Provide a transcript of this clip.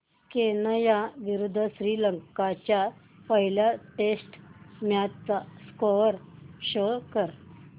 Kenya विरुद्ध श्रीलंका च्या पहिल्या टेस्ट मॅच चा स्कोअर शो कर